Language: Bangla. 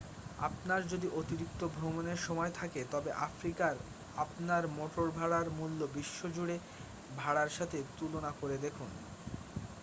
আপনার যদি অতিরিক্ত ভ্রমণের সময় থাকে তবে আফ্রিকার আপনার মোটভাড়ার মূল্য বিশ্বজুড়ে ভাড়ার সাথে তুলনা করে দেখুন